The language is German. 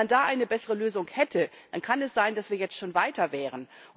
Wenn man da eine bessere Lösung hätte, dann kann es sein, dass wir jetzt schon weiter wären.